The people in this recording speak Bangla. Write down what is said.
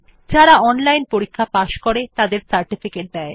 যারা অনলাইন পরীক্ষা পাস করে তাদের সার্টিফিকেট দেয়